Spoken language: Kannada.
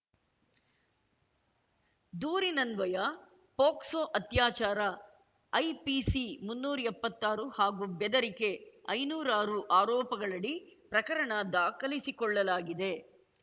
ದೂರಿನನ್ವಯ ಪೋಕ್ಸೊ ಅತ್ಯಾಚಾರ ಐಪಿಸಿ ಮುನ್ನೂರ್ ಎಪ್ಪತ್ತಾರು ಹಾಗೂ ಬೆದರಿಕೆ ಐನೂರಾರು ಆರೋಪಗಳಡಿ ಪ್ರಕರಣ ದಾಖಲಿಸಿಕೊಳ್ಳಲಾಗಿದೆ